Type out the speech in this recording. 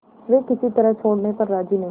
वे किसी तरह छोड़ने पर राजी नहीं